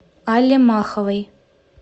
алле маховой